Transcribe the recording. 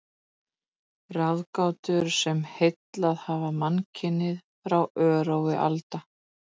Ráðgátur, sem heillað hafa mannkynið frá örófi alda.